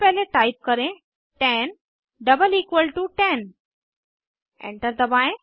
सबसे पहले टाइप करें 10 डबल इक्वल टू 10 एंटर दबाएं